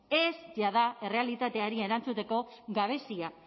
ez jada errealitateari erantzuteko gabezia